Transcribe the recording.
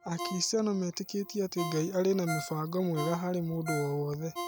Akristiano metĩkĩtie atĩ Ngai arĩ na mũbango mwega harĩ mũndũ o wothe.